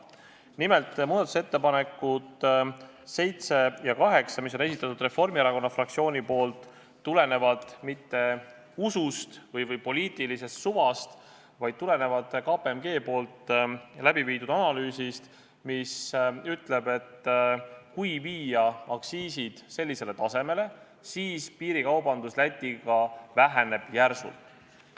Nimelt, muudatusettepanekud nr 7 ja 8, mis on Reformierakonna fraktsiooni esitatud, ei tulene mitte usust ega poliitilisest suvast, vaid tulenevad KPMG läbi viidud analüüsist, mis ütleb, et kui viia aktsiisid sellisele tasemele, siis piirikaubandus Lätiga väheneb järsult.